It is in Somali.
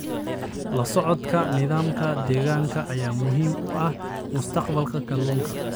La socodka nidaamka deegaanka ayaa muhiim u ah mustaqbalka kalluunka.